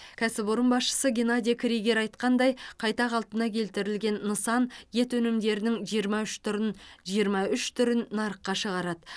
кәсіпорын басшысы геннадий кригер айтқандай қайта қалпына келтірілген нысан ет өнімдерінің жиырма үш түрін жиырма үш түрін нарыққа шығарады